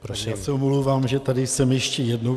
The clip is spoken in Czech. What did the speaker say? Já se omlouvám, že tady jsem ještě jednou.